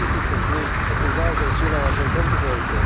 A tisíce z nich už naozaj sú na našom kontinente.